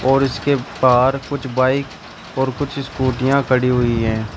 और इसके बाहर कुछ बाइक और कुछ स्कूटिया खड़ी है।